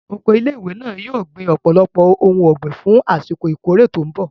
Oko ilé ìwé náà yóò gbin ọ̀pọ̀lọpọ̀ ohun ọ̀gbìn fún àsìkò ìkórè tó mbọ̀